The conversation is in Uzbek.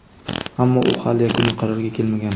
ammo u hali yakuniy qarorga kelmagan.